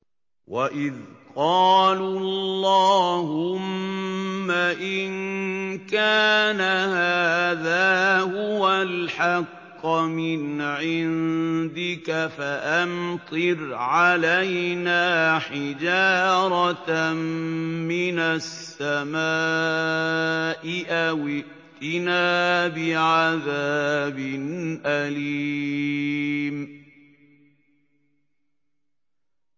وَإِذْ قَالُوا اللَّهُمَّ إِن كَانَ هَٰذَا هُوَ الْحَقَّ مِنْ عِندِكَ فَأَمْطِرْ عَلَيْنَا حِجَارَةً مِّنَ السَّمَاءِ أَوِ ائْتِنَا بِعَذَابٍ أَلِيمٍ